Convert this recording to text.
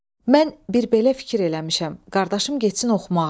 Mən bir belə fikir eləmişəm, qardaşım getsin oxumağa.